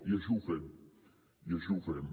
i així ho fem i així ho fem